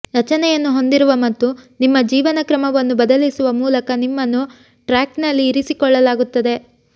ರಚನೆಯನ್ನು ಹೊಂದಿರುವ ಮತ್ತು ನಿಮ್ಮ ಜೀವನಕ್ರಮವನ್ನು ಬದಲಿಸುವ ಮೂಲಕ ನಿಮ್ಮನ್ನು ಟ್ರ್ಯಾಕ್ನಲ್ಲಿ ಇರಿಸಿಕೊಳ್ಳಲಾಗುತ್ತದೆ